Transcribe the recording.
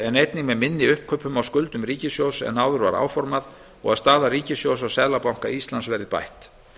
en einnig með minni uppkaupum á skuldum ríkissjóðs en áður var áformað og að staða ríkissjóðs hjá seðlabanka íslands verði bætt